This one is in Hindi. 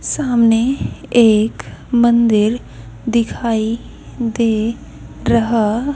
सामने एक मंदिर दिखाई दे रहा--